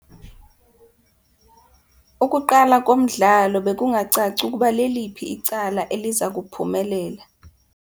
Ukuqala komdlalo bekungacaci ukuba leliphi icala eliza kuphumelela.